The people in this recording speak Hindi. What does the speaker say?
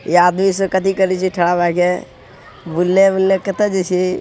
ये आदमी सब कथि करे छै ठड़ा भाय के भूलने उलने कता जाय छै।